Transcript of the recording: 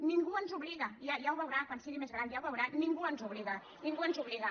ningú ens hi obliga ja ho veurà quan sigui més gran ja ho veurà ningú ens hi obliga ningú ens hi obliga